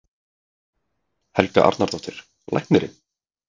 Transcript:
Helga Arnardóttir: Læknirinn?